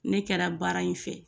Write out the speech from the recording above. Ne kɛra baara in fɛ